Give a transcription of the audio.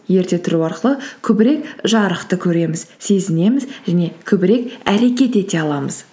ерте тұру арқылы көбірек жарықты көреміз сезінеміз және көбірек әрекет ете аламыз